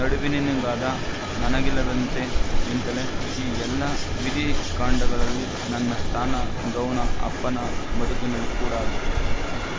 ನಡುವಿನವನಾದ ನನಗಿಲ್ಲವಂತೆ ಎಂತಲೇ ಈ ಎಲ್ಲ ವಿಧಿಕಾಂಡಗಳಲ್ಲಿ ನನ್ನ ಸ್ಥಾನ ಗೌಣ ಅಪ್ಪನ ಬದುಕಿನಲ್ಲಿ ಕೂಡಾ ಹಾಗೆ